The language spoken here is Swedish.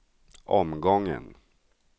omgången